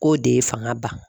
K'o de ye fanga ba.